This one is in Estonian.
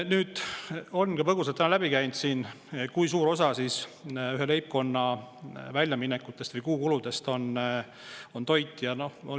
Nüüd, siin on põgusalt täna läbi käinud, kui suure osa ühe leibkonna väljaminekutest või kuukuludest moodustab toit.